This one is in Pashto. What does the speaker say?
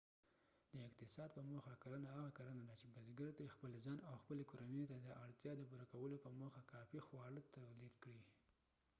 د اقتصاد په موخه کرنه هغه کرنه ده چې بزګر ترې خپل ځان او خپلې کورنۍ ته د اړتیا د پوره کولو په موخه کافي خواړه تولید کړي